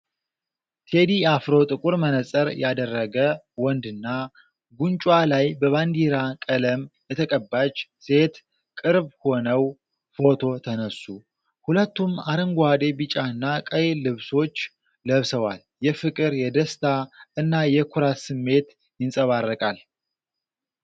ቴዲ አፍሮ ጥቁር መነጽር ያደረገ ወንድና ጉንጯ ላይ በባንዲራ ቀለም የተቀባች ሴት ቅርብ ሆነው ፎቶ ተነሱ። ሁለቱም አረንጓዴ፣ ቢጫና ቀይ ልብሶች ለብሰዋል። የፍቅር፣ የደስታ እና የኩራት ስሜት ይንጸባረቃል።